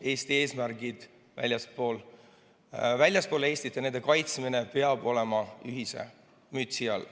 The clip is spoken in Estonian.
Eesti eesmärgid väljaspool Eestit ja nende kaitsmine peab olema ühe mütsi all.